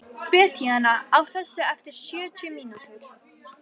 Betanía, slökktu á þessu eftir sjötíu mínútur.